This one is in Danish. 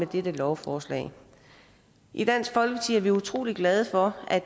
dette lovforslag i dansk folkeparti er vi utrolig glade for at